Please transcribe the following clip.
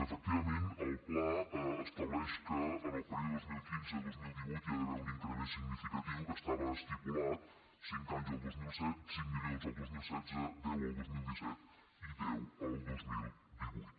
efectivament el pla estableix que en el període dos mil quinze dos mil divuit hi ha d’haver un increment significatiu que estava estipulat cinc milions el dos mil setze deu el dos mil disset i deu el dos mil divuit